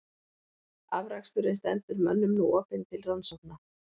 Afraksturinn stendur mönnum nú opinn til rannsókna.